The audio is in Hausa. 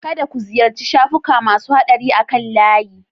Kada ku ziyarci shafuka masu haɗari akan layi